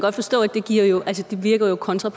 kun tager